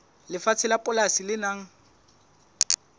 lefatshe la polasi le nang